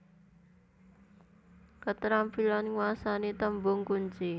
Ketrampilan nguasani tembung kunci